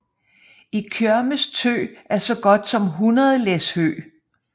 Og Kjørmes tø er så godt som 100 læs hø